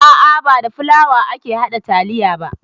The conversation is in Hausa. A'a ba da fulawa ake haɗa taliya ba